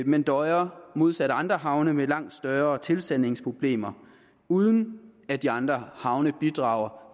men døjer modsat andre havne med langt større tilsandingsproblemer uden at de andre havne bidrager